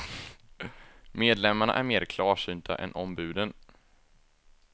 Medlemmarna är mer klarsynta än ombuden.